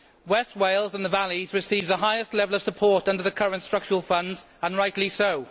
West Wales and the Valleys receives the highest level of support under the current Structural Funds, and rightly so.